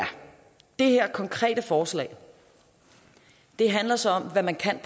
det her konkrete forslag handler så om hvad man kan